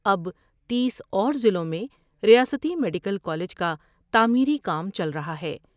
اب تیس اور ضلعوں میں ریاستی میڈیکل کالج کا تعمیری کام چل رہا ہے۔